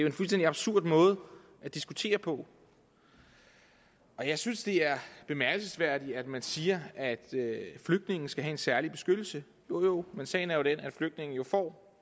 en fuldstændig absurd måde at diskutere på jeg synes det er bemærkelsesværdigt at man siger at flygtninge skal have en særlig beskyttelse jo jo men sagen er den at flygtninge jo får